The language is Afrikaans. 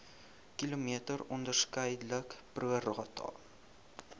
km onderskeidelik prorata